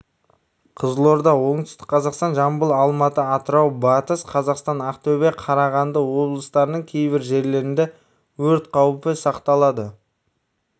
қызылорда оңтүстік қазақстан жамбыл алматы атырау батыс қазақстан ақтөбе қарағанды облыстарның кейбір жерлерінде өрт қаупі сақталады